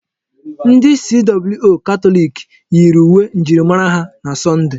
Ndi CWO Katọlik yiiri uwe njirimara ha na Sọnde.